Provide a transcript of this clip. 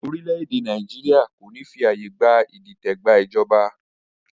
Orílẹ̀ èdè Nàìjíríà kò ní fi àyè gba Ìdìtẹ̀ gba ìjọba